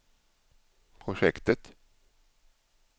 projektet